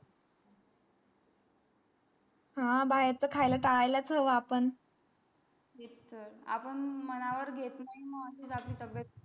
हा बाहेर चा खायला टाळायचा आपण त्यातच तर आपण मन वर घेत मग अशीच आपली तब्येत